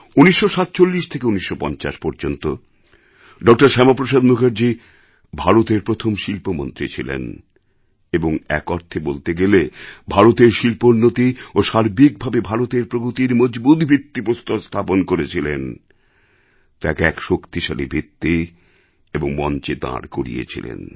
১৯৪৭ থেকে ১৯৫০ পর্যন্ত ড শ্যামাপ্রসাদ মুখার্জি ভারতের প্রথম শিল্পমন্ত্রী ছিলেন এবং এক অর্থে বলতে গেলে ভারতের শিল্পোন্নতি এবং সার্বিক ভাবে ভারতের প্রগতির মজবুত ভিত্তি প্রস্তর স্থাপন করেছিলেন তাকে এক শক্তিশালী ভিত্তি এবং মঞ্চে দাঁড় করিয়েছিলেন